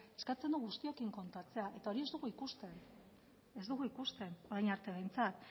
eskatzen du guztiekin kontatzea eta hori ez dugu ikusten orain arte behintzat